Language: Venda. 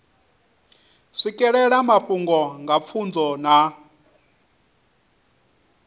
swikelela mafhungo nga pfunzo na